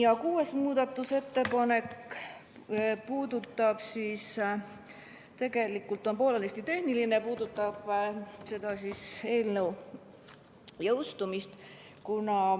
Kuues muudatusettepanek on poolenisti tehniline, see puudutab eelnõu jõustumist.